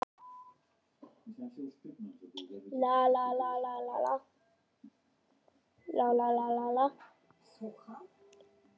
Til dæmis skiptir máli hvort athugandinn er í miðbæ Reykjavíkur eða uppi í Árbæ.